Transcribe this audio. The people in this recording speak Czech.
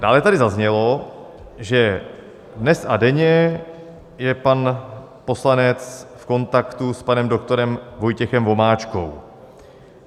Dále tady zaznělo, že dnes a denně je pan poslanec v kontaktu s panem doktorem Vojtěchem Vomáčkou.